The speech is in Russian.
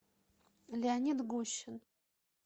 леонид гущин